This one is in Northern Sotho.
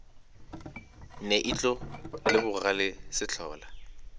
ne ihlo le bogale sehlola